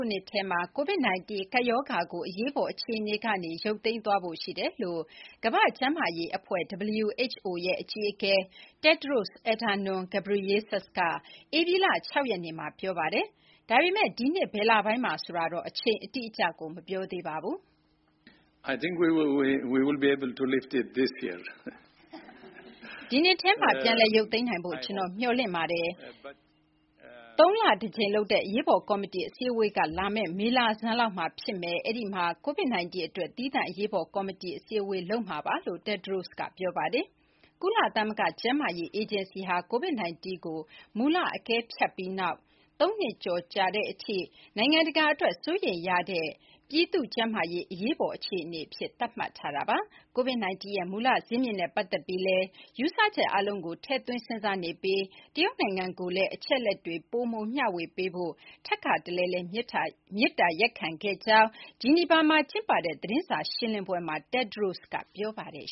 ုနှစ်ထဲမှာ COVID-19 ကပ်ရောဂါကို အရေးအပေါ် အခြေအနေကနေ ရုတ်သိမ်းသွားဖို့ ရှိတယ်လို့ ကမ္ဘာ့ကျန်းမာရေးအဖွဲ့ WHO ရဲ့ အကြီးအကဲ Tedros Adhanom Ghebreyesus က ဧပြီလ (၆) ရက်နေ့မှာ ပြောလိုက်ပါတယ်။ ဒါပေမဲ့ ဒီနှစ် ဘယ်လပိုင်းမှာလဲ ဆိုတာတော့ အချိန်အတိအကျ မပြောသေးပါဘူး။ “ဒီနှစ်ထဲမှာ ပြန်လည် ရုတ်သိမ်းနိုင်ဖို့ ကျွန်တော် မျှော်လင့်ပါတယ်။ သုံးလတစ်ကြိမ်လုပ်တဲ့ အရေးပေါ်ကော်မတီ အစည်းအဝေးက လာမယ့် မေလဆန်းလောက်မှာ ဖြစ်မယ်။ အဲ့ဒီမှာ COVID-19 အတွက် သီးသန့် အရေးပေါ် ကော်မတီ အစည်းအဝေးလုပ်မှာပါ။” လို့ Tedros တက်ဒရို့စ်က ပြောပါတယ်။ ကုလသမဂ္ဂ ကျန်းမာရေးအေဂျင်စီဟာ COVID-19 ကို မူလ အကဲဖြတ်ပြီးနောက် ၃ နှစ်ကျော်ကြာတဲ့အထိ နိုင်ငံတကာအတွက် စိုးရိမ်ရတဲ့ ပြည်သူ့ကျန်းမာရေး အရေးပေါ် အခြေအနေအဖြစ် သတ်မှတ်ထားတာပါ။ COVID-19 ရဲ့ မူလဇစ်မြစ်နဲ့ ပတ်သက်ပြီးလည်း ယူဆချက်အားလုံးကို ထည့်သွင်း စဉ်းစားနေပြီး တရုတ်နိုင်ငံကိုလည်း အချက်အလက်တွေ ပိုမို မျှဝေပေးဖို့ ထပ်ခါတလဲလဲ မေတ္တာရပ်ခံခဲ့တဲ့အကြောင်း ဂျီနီဗာမှာကျင်းပတဲ့ သတင်းစာ ရှင်းလင်းပွဲမှာ တက်ဒရို့စ်က ပြောပါတယ်